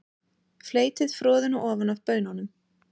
Fleytið froðuna ofan af baununum.